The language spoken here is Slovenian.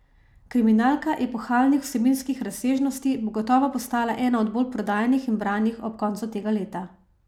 Kriminalka epohalnih vsebinskih razsežnosti bo gotovo postala ena od bolj prodajanih in branih knjig ob koncu tega leta.